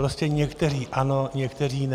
Prostě někteří ano, někteří ne.